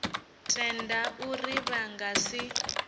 tenda uri vha nga si